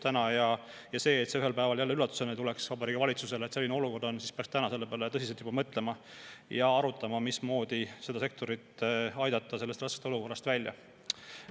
Selleks, et see olukord ühel päeval Vabariigi Valitsusele jälle üllatusena ei tuleks, peaks juba täna selle peale tõsiselt mõtlema ja arutama, mismoodi aidata see sektor sellest raskest olukorrast välja.